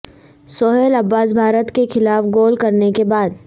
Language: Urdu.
سہیل عباس بھارت کے خلاف گول کرنے کے بعد